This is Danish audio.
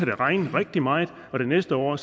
det regne rigtig meget og det næste år